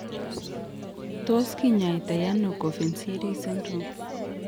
Tos kinyaitaiano Coffin Siris syndrome?